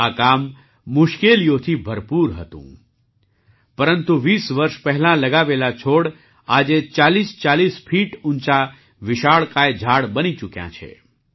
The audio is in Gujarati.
આ કામ મુશ્કેલીઓથી ભરપૂર હતું પરંતુ વીસ વર્ષ પહેલાં લગાવેલા છોડ આજે ૪૦૪૦ ફીટ ઊંચા વિશાળકાય ઝાડ બની ચૂક્યાં છે